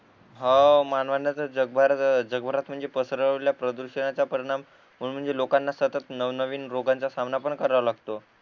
हो मानवाने तर जग भरात जग भरात म्हणजे पसरवल्या प्रदुषणाचा परिणाम म्हण म्हणून लोकांना सतत नव नवीन रोगांचा सामना पण कराव लागत